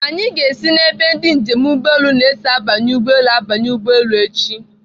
Anyị ga-esi n'ebe ndị njem ụgbọelu na-esi abanye ụgbọelu abanye ụgbọelu echi.